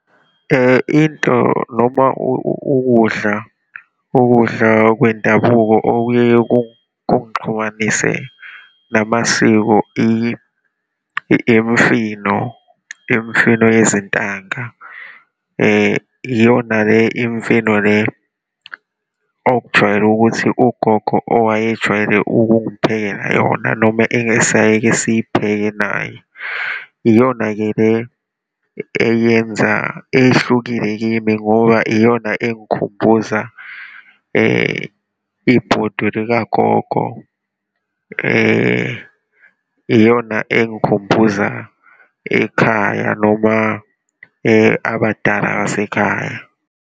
Into noma ukudla, ukudla kwendabuko okuyeye kungixhumanise namasiko, imifino, imifino yezintanga. Iyona le imifino le, okujwayele ukuthi ugogo owayejwayele ukungiphekela yona noma engesayike siyipheke naye. Iyona-ke le eyenza, ehlukile kimi ngoba iyona engikhumbuza ibhodwe likagogo, iyona engikhumbuza ekhaya, noma abadala basekhaya.